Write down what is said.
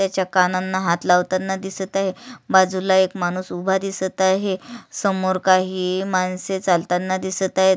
त्याच्या काना णा हात लावताना दिसत आहे बाजूला एक माणूस उभा दिसत आहे समोर काही माणसे चालताना दिसत आहेत.